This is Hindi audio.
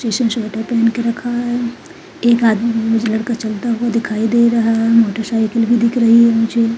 पहन के रखा है एक आदमी मम लड़का चलता हुआ दिखाई दे रहा है मोटर-साइकिलस भी दिख रही है मुझे।